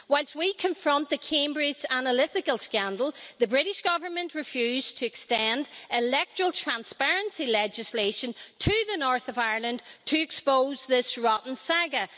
Whilst we confront the Cambridge Analytica scandal, the British Government refused to extend electoral transparency legislation to the north of Ireland to expose this rotten saga.